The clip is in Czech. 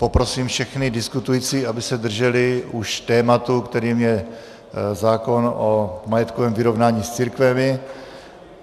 Poprosím všechny diskutující, aby se drželi už tématu, kterým je zákon o majetkovém vyrovnání s církvemi.